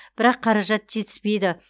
бірақ қаражат жетіспейді